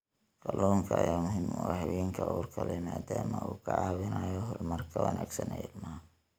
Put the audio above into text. Kalluunka ayaa muhiim u ah haweenka uurka leh maadaama uu ka caawinayo horumarka wanaagsan ee ilmaha.